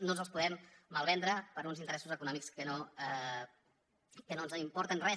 no ens els podem malvendre per uns interessos econòmics que no ens importen gens